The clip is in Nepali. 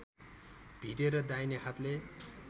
भिरेर दाहिने हातले